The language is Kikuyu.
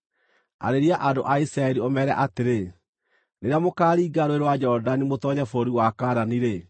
“Arĩria andũ a Isiraeli, ũmeere atĩrĩ: ‘Rĩrĩa mũkaaringa Rũũĩ rwa Jorodani mũtoonye bũrũri wa Kaanani-rĩ,